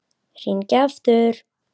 Hringi aftur!